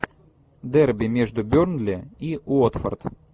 дерби между бернли и уотфорд